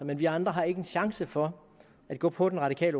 men vi andre har ikke en chance for at gå på det radikale